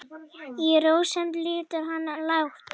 Í rósemd lýtur hann lágt.